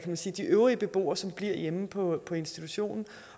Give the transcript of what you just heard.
man sige de øvrige beboere som bliver hjemme på institutionen